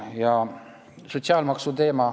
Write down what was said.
Ja sotsiaalmaksuteema.